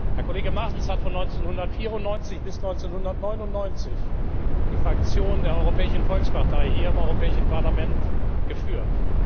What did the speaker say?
Herr Kollege Martens hat von 1994 bis 1999 die Fraktion der Europäischen Volkspartei hier im Europäischen Parlament geführt.